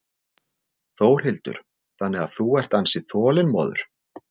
Þórhildur: Þannig að þú ert ansi þolinmóður?